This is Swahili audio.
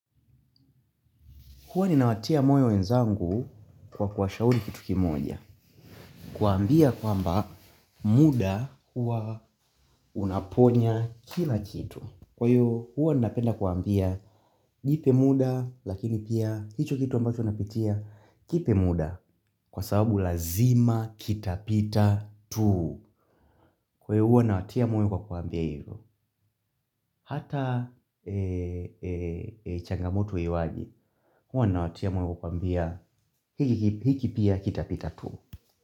Huwa ninawatia moyo wenzangu kwa kuwashauri kitu kimoja. Kuwaambia kwamba muda hua unaponya kila kitu. Kwa hivyo hua napenda kuambia jipe muda lakini pia hicho kitu ambacho napitia kipe muda. Kwa sababu lazima kitapita tuu. Kwa hiyo huwa nawatia moyo kwa kuwaambia hivo. Hata changamoto iwaje huwa nawatia moyo kwa kuwaambia hiki ki hiki pia kitapita tu.